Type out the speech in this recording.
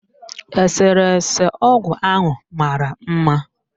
Eserese ọgụ ahụ mara mma.